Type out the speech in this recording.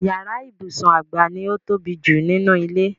Yàrá ibùsùn àgbà ni ó ń tóbi jù nínú ilé.